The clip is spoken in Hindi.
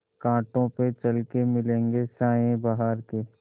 कांटों पे चल के मिलेंगे साये बहार के